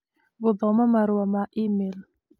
gũthoma marũa ma e-mail